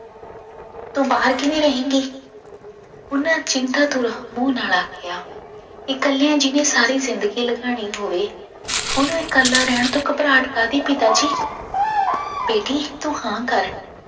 ਤੂੰ ਬਾਹਰ ਕਿਵੇਂ ਰਹੇਂਗੀ ਉਹਨਾਂ ਚਿੰਤਾਪੁਰ ਮੂੰਹ ਨਾਲ ਆਖਿਆ ਇਕੱਲਿਆਂ ਜਿਹਨੇ ਸਾਰੀ ਜ਼ਿੰਦਗੀ ਲੰਘਾਣੀ ਹੋਵੇ, ਉਹਨੂੰ ਇਕੱਲਾ ਰਹਿਣ ਤੋਂ ਘਬਰਾਹਟ ਕਾਹਦੀ ਪਿਤਾ ਜੀ ਬੇਟੀ ਤੂੰ ਹਾਂ ਕਰ